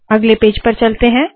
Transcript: अगले पेज पर चलते है